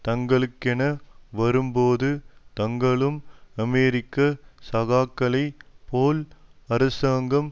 தங்களுக்கென வரும்போது தாங்களும் அமெரிக்க சகாக்களை போல் அரசாங்கம்